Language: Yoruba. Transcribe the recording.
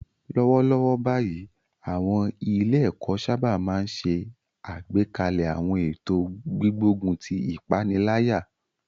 Lọ́wọ́lọ́wọ́ báyìí, àwọn ilé-ẹ̀kọ́ sábà máa ń ṣe àgbékalẹ̀ àwọn ètò gbígbógun ti ìpaniláyà